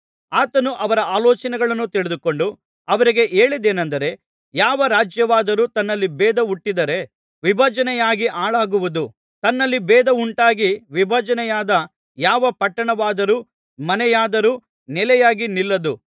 ಆತನು ಅವರ ಆಲೋಚನೆಗಳನ್ನು ತಿಳಿದುಕೊಂಡು ಅವರಿಗೆ ಹೇಳಿದ್ದೇನೆಂದರೆ ಯಾವ ರಾಜ್ಯವಾದರೂ ತನ್ನಲ್ಲಿ ಭೇದ ಹುಟ್ಟಿದರೆ ವಿಭಜನೆಯಾಗಿ ಹಾಳಾಗುವುದು ತನ್ನಲ್ಲಿ ಭೇದ ಉಂಟಾಗಿ ವಿಭಜನೆಯಾದ ಯಾವ ಪಟ್ಟಣವಾದರೂ ಮನೆಯಾದರೂ ನೆಲೆಯಾಗಿ ನಿಲ್ಲದು